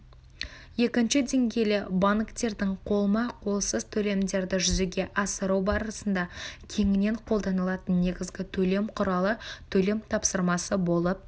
екінші деңгейлі банктердің қолма-қолсыз төлемдерді жүзеге асыру барысында кеңінен қолданылатын негізгі төлем құралы төлем тапсырмасы болып